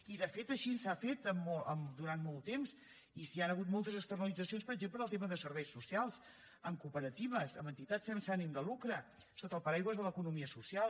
i de fet així s’ha fet durant molt temps i hi han hagut moltes externalitzacions per exemple en el tema de serveis socials amb cooperatives amb entitats sense ànim de lucre sota el paraigua de l’economia social